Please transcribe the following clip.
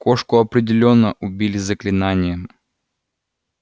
кошку определённо убили заклинанием